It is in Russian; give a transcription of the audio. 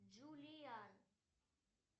джулиан